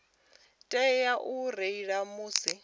tea u reila musi vho